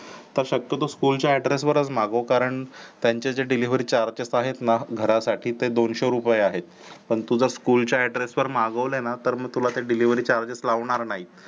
आता शक्यतो School address वरच मागव कारण त्यांचे जे delivery charges आहेत ना घरासाठी ते दोनशे रुपये आहेत पण तुझ school address वर मागवले ना तर तुला त delivery charges लावणार नाही